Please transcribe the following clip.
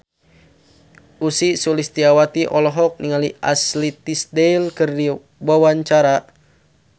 Ussy Sulistyawati olohok ningali Ashley Tisdale keur diwawancara